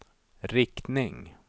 riktning